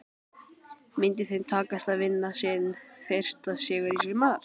Myndi þeim takast að vinna sinn fyrsta sigur í sumar?